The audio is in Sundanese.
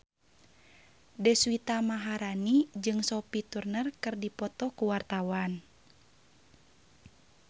Deswita Maharani jeung Sophie Turner keur dipoto ku wartawan